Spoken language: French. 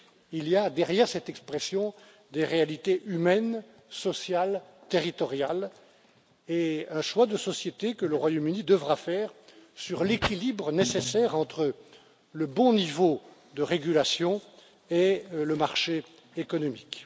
Il y a derrière cette expression des réalités humaines, sociales, territoriales et un choix de société que le Royaume Uni devra faire sur l'équilibre nécessaire entre le bon niveau de régulation et le marché économique.